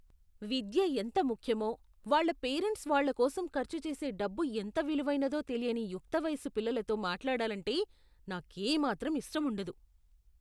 విద్య ఎంత ముఖ్యమో, వాళ్ళ పేరెంట్స్ వాళ్ళ కోసం ఖర్చు చేసే డబ్బు ఎంత విలువైనదో తెలియని యుక్త వయసు పిల్లలతో మాట్లాడాలంటే నాకేమాత్రం ఇష్టముండదు.